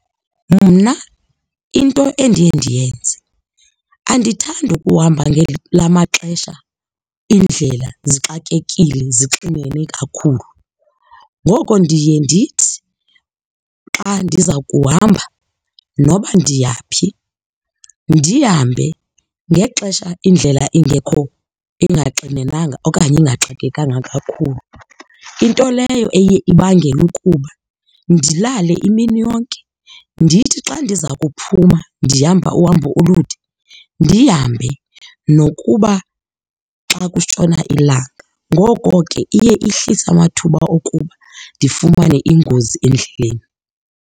Mna into endiye ndiyenze, andithandi ukuhamba la maxesha iindlela zixakekile, zixinene kakhulu. Ngoko ndiye ndithi xa ndiza kuhamba, noba ndiya phi ndihambe ngexesha indlela ingekho ingaxinenanga okanye ingaxakekanga kakhulu. Into leyo eye ibangele ukuba ndilale imini yonke ndithi xa ndiza kuphuma ndihamba uhambo olude ndihambe nokuba xa kutshona ilanga. Ngoko ke iye ihlisa amathuba okuba ndifumane ingozi endleleni.